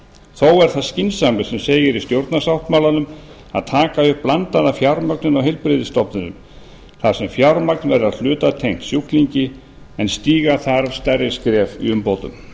þó er það skynsamlegt sem segir í stjórnarsáttmálanum að taka upp blandaða fjármögnun á heilbrigðisstofnunum þar sem fjármagn verður að hluta tengt sjúklingi en stíga þarf stærri skref í umbótum